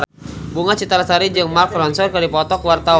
Bunga Citra Lestari jeung Mark Ronson keur dipoto ku wartawan